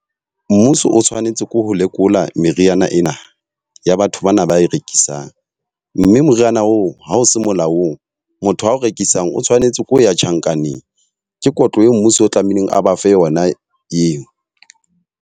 Mmuso o tshwanetse ko ho lekola meriana ena ya batho bana ba e rekisang. Mme moriana oo ha o se molaong, motho ao rekisang o tshwanetse ke ho ya tjhankaneng. Ke kotlo eo mmuso o tlamehileng a ba fe yona eo.